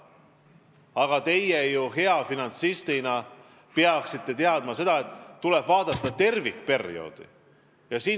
Aga hea finantsistina te peaksite teadma, et tuleb vaadata tervikperioodi.